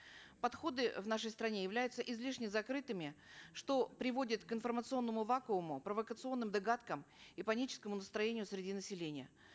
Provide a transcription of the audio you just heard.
подходы в нашей стране являются излишне закрытыми что приводит к информационному вакууму провокационным догадкам и паническому настроению среди населения